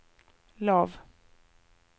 lav